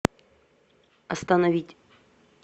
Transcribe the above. остановить